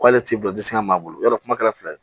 K'ale t'i bolo disi kan maa bolo ya dɔ kuma kɛra fila ye